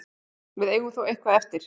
Við eigum þó eitthvað eftir.